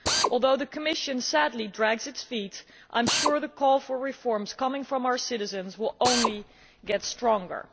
Although the Commission is, sadly, dragging its feet, I am sure the call for reforms from our citizens will only get stronger.